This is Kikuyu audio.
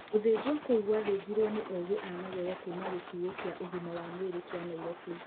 Gũthinjwo kũu gwathinjirwo nĩ ogĩ a magego kuuma gĩtuũkĩa ũgima wa mwĩrĩ kia Nairobi.